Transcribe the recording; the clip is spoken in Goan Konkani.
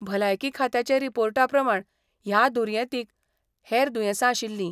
भलायकी खात्याचे रिपोर्टाप्रमाण ह्या दुर्येतींक हेर दुयेंसां आशिल्लीं.